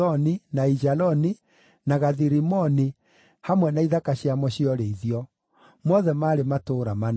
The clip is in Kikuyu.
na Aijaloni, na Gathi-Rimoni hamwe na ithaka ciamo cia ũrĩithio; mothe maarĩ matũũra mana.